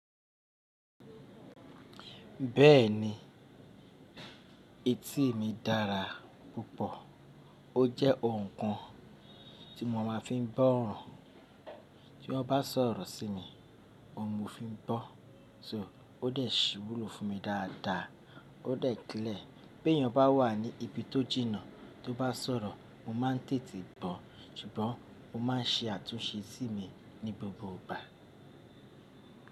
Bẹ́ẹ̀ni, etí mi dára púpọ̀. Ó jẹ́ ohun kan tí mo máa fi ń gbọ́ óro. Tí wọ́n bá sọ̀rọ̀ sí mi, ohun mo fi ń gbọ. So ó dẹ̀ ṣe íwúlò fún mi dáadáa, ó dẹ̀ clẹ̀ar. Bí èèyàn bá wà ní ibi tó jìnnà tó bá sọ̀rọ̀, mo máa ń tètè bọ̀. Ṣùgbọ́n mo máa ń ṣe àtúnṣe sí mi ní gbogbo ìgbà.